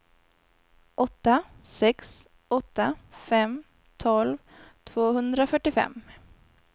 åtta sex åtta fem tolv tvåhundrafyrtiofem